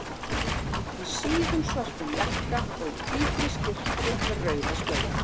Í síðum, svörtum jakka og í hvítri skyrtu með rauða slaufu.